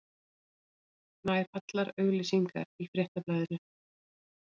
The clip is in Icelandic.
Nær allar auglýsingar í Fréttablaðinu